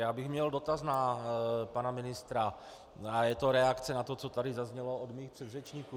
Já bych měl dotaz na pana ministra a je to reakce na to, co tady zaznělo od mých předřečníků.